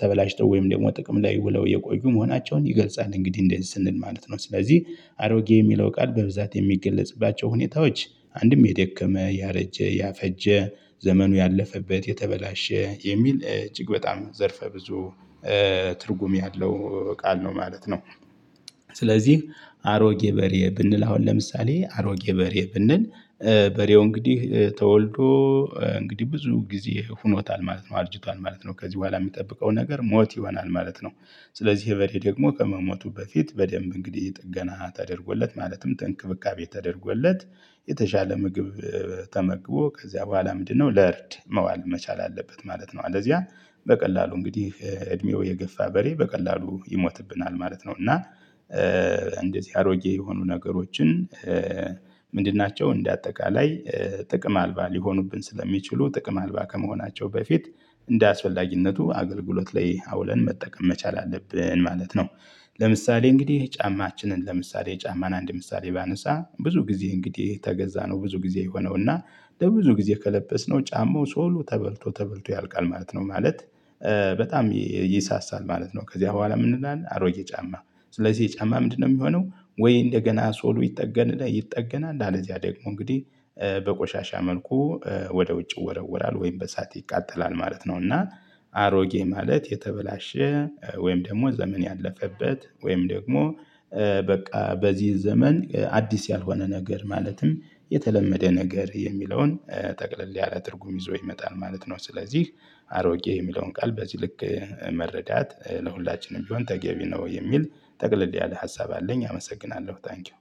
ተበላሽቶ ወይም ደግሞ ጥቅም ላይ ውለው የቆዩ መሆናቸውን ይገልጻል። እንግዲህ እንደዚህ ስንል ማለት ነው። ስለዚህ አሮጌ የሚለው ቃል በብዛት የሚገለጽባቸው ሁኔታዎች አንድም የደከመ ያረጀ ያፈጀ ዘመኑ ያለፈበት የተበላሸ የሚል እጅግ በጣም ዘርፈ ብዙ ትርጉም ያለው ቃል ነው ማለት ነው። ስለዚህ አሮጌ በሬ ብንል አሁን ለምሳሌ አሮጌ በሬ ብንል። በሬው እንግዲህ ተወልዶ እንግዲህ ብዙ ጊዜ ሆኖታል ማለት ነው አርጅቷል ማለት ነው ከዚህ በኋላ የሚጠብቀው ነገር ሞት ይሆናል ማለት ነው። ስለዚህ ይሄ በሬ ደግሞ ከመሞቱ በፊት በደንብ እንግዲህ ጥገና ተደርጎለት ማለትም ተንክብካቤ ተደርጎለት። የተሻለ ምግብ ተመግቦ ከዚያ በኋላ ምንድነው ለእርድ መዋል መቻል አለበት ማለት ነው። አለዚያ በቀላሉ እንግዲህ እድሜው የገፋ በሬ በቀላሉ ይሞትብናል ማለት ነው። እና እንደዚህ አሮጌ የሆኑ ነገሮችን ምንድን ናቸው እንደ አጠቃላይ። ጥቅም አልባ ሊሆኑብን ስለሚችሉ ጥቅም አልባ ከመሆናቸው በፊት እንደአስፈልጊነቱ አገልግሎት ላይ አውለን መጠቀም መቻል አለብን ማለት ነው። ለምሳሌ እንግዲህ ጫማችንን ለምሳሌ ጫማን አንድ ምሳሌ ባነሳ ብዙ ጊዜ እንግዲህ ተገዛ ነው ብዙ ጊዜ ይሆነው እና። ለብዙ ጊዜ ከለበስነው ጫማው ሶሉ ተበልቶ ተበልቶ ያልቃል ማለት ነው። ማለት በጣም ይሳሳል ማለት ነው ከዚያ በኋላ ምን እንላለን አሮጌ ጫማ። ስለዚህ ይሄ ጫማ ምንድነው የሚሆነው? ወይ እንደገና ሶሉ ይጠገናል ይጠገናል አለዚያ ደግሞ እንግዲህ በቆሻሻ መልኩ ወደ ውጭ ይወረወራል ወይም በእሳት ይቃጠላል ማለት ነው። እና አሮጌ ማለት የተበላሸ ወይም ደግሞ ዘመን ያለፈበት ወይም ደግሞ በቃ በዚህ ዘመን አዲስ ያልሆነ ነገር ማለትም የተለመደ ነገር የሚለውን ጠቅለል ያለ ትርጉም ይዞ ይመጣል ማለት ነው። ስለዚህ አሮጌ የሚለውን ቃል በዚህ ልክ መረዳት ለሁላችንም ቢሆን ተገቢ ነው። የሚል ጠቅለል ያለ ሀሳብ አለኝ። አመሰግናለሁ ታንኪው